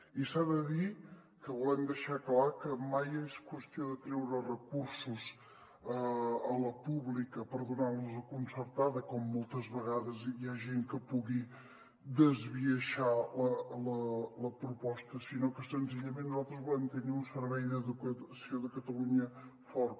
i s’ha de dir que volem deixar clar que mai és qüestió de treure recursos a la pública per donar los a la concertada com moltes vegades hi ha gent que pugui esbiaixar la proposta sinó que senzillament nosaltres volem tenir un servei d’educació de catalunya fort